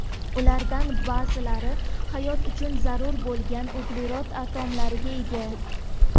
Ulardan ba’zilari hayot uchun zarur bo‘lgan uglerod atomlariga ega.